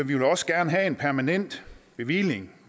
vil også gerne have en permanent bevilling